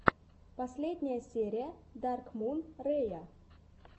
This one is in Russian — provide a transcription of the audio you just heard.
последняя серия даркмун рэя